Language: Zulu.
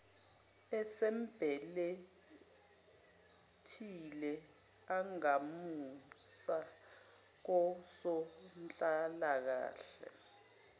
esembelethile angamusa kosonhlalakahle